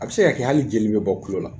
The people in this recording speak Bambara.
A bɛ se ka kɛ hali jeli be bɔ tulo la.